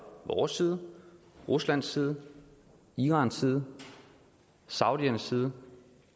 vores side ruslands side irans side saudiernes side